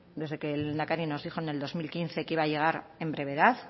desde que el lehendakari nos dijo en el dos mil quince que iba a llegar en brevedad